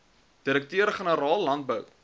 direkteur generaal landbou